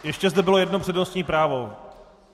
Ještě zde bylo jedno přednostní právo.